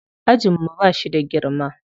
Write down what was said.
Ajin mu ba shi da girma.